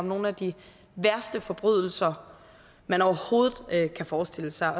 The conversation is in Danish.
nogle af de værste forbrydelser man overhovedet kan forestille sig